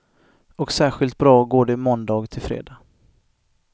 Och särskilt bra går det måndag till fredag.